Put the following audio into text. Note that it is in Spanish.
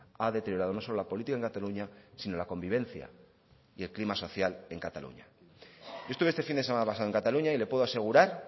ha deteriorado no solo la política en cataluña sino la convivencia y el clima social en cataluña yo estuve este fin de semana pasado en cataluña y le puedo asegurar